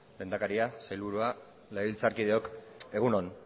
lehendakaria sailburua legebiltzarkideok egun on